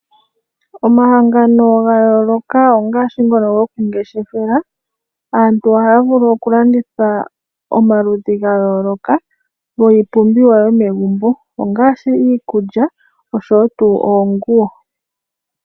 Omahangano ga yooloka ngaashi ngoka gokungeshefela. Aantu ohaya vulu okulanditha omaludhi ga yooloka giipumbiwa yomegumbo ngaashi iikulya noshowo oonguwo.